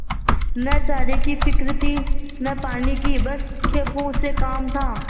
न चारे की फिक्र थी न पानी की बस खेपों से काम था